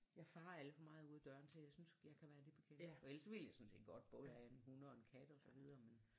Jeg farer alt for meget ud af døren så jeg synes jeg kan være det bekendt og ellers så ville jeg sådan set godt både have en hund og en kat og så videre